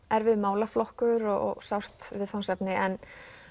erfiður málaflokkur og sárt viðfangsefni en